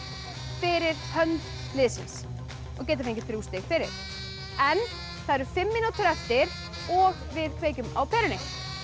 fyrir hönd liðsins og getur fengið þrjú stig fyrir það eru fimm mínútur eftir og við kveikjum á perunni